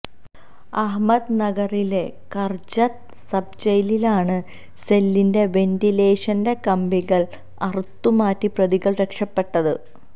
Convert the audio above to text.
അഹമ്മദ് നഗറിലെ കര്ജത്ത് സബ് ജയിലിലാണ് സെല്ലിന്റെ വെന്റിലേഷന്റെ കമ്പികള് അറുത്ത് മാറ്റി പ്രതികള് രക്ഷപ്പെട്ടത്